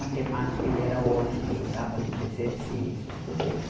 Matemática ele era ótimo, ajudava nos exercícios, tudo isso.